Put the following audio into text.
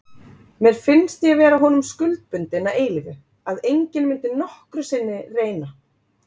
Mér fannst ég vera honum skuldbundin að eilífu, að enginn myndi nokkru sinni reyn